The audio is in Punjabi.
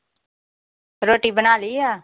ਰੋਟੀ ਬਣਾ ਲੀਂ ਆ?